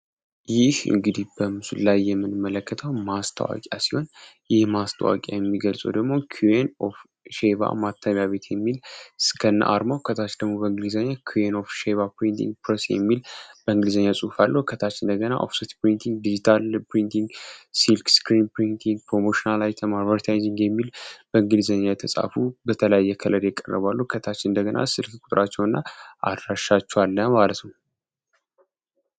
ይህ እንግዲህ በምስሉ ላይ የምንመለከታው ማስተዋቂያ ሲሆን ይህ ማስተዋቂያ የሚገልጸው ደግሞ ኪን ኦፍ ሼቫ ማተሚያ ቤት የሚል እስከነ አርሞው ከታች ደግሞ በእንግሊዘኒ ኩይን ኦፍ ሼቫ ፕሪንቲንግ ፕረስ የሚል በእንግሊዘኛያ ጽሑፋለ ከታች እንደገና ኦፍስት ፕሪንቲንግ ዲጂታል ፕሪንቲንግ ሲልክ ስክሪም ፕሪንቲግ ፕሮሞሽን አይተም የሚል በእንግሊዘኛ የተጻፉ በተለያየ ከለር የቀረቡ አሉ ።ከታች እንደገና ስልክ ቁጥራቸው እና አድራሻቸዋለ አለ ማለት ነው።